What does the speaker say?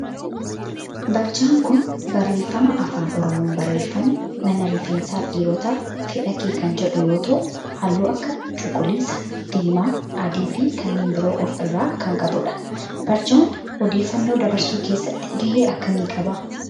Barjaa kun barreeffama afaan oromoon barreeffame mana rifeensaa dhiirootaa fedhake kan jedhu yoo ta'u halluu akka cuquliisa, diimaa, adii, fi kanneen biroo of irraa kan qabudha. barjaan odeeffannoo dabarsuu keessatti gahee akkamii qaba?